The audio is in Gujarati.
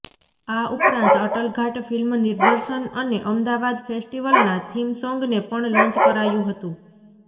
આ ઉપરાંત અટલઘાટ ફિલ્મ નિદર્શન અને અમદાવાદ ફેસ્ટિવલના થીમ સોંગને પણ લોન્ચ કરાયું હતુ